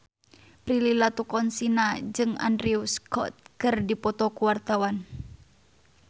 Prilly Latuconsina jeung Andrew Scott keur dipoto ku wartawan